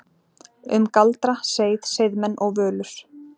Um galdra, seið, seiðmenn og völur